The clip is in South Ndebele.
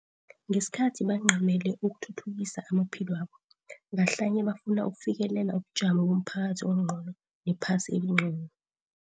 Ngesikhathi bancamele ukuthuthukisa amaphilwabo, ngahlanye bafuna ukufikelela ubujamo bomphakathi ongcono nephasi elingcono.